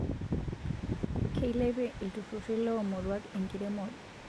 Keilepie ilntururi lo muruak enkiremore